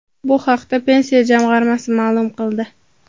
Bu haqda Pensiya jamg‘armasi ma’lum qildi .